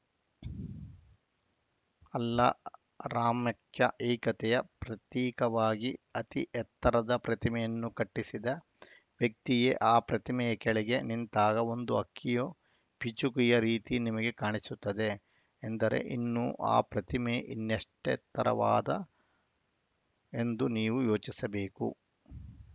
ಅಲ್ಲಾ ರಾಮ್ಯಕ್ಕೆ ಏಕತೆಯ ಪ್ರತೀಕವಾಗಿ ಅತಿ ಎತ್ತರದ ಪ್ರತಿಮೆಯನ್ನು ಕಟ್ಟಿಸಿದ ವ್ಯಕ್ತಿಯೇ ಆ ಪ್ರತಿಮೆಯ ಕೆಳಗೆ ನಿಂತಾಗ ಒಂದು ಹಕ್ಕಿಯ ಪಿಚುಕೆಯ ರೀತಿ ನಿಮಗೆ ಕಾಣಿಸುತ್ತಾರೆ ಎಂದರೆ ಇನ್ನು ಆ ಪ್ರತಿಮೆ ಇನ್ನೆಷ್ಟತ್ತರವಾದ್ದ ಎಂದು ನೀವು ಯೋಚಿಸಬೇಕು